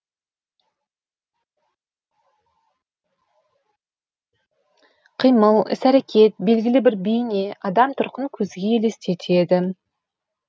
қимыл іс әрекет белгілі бір бейне адам тұрқын көзге елестетеді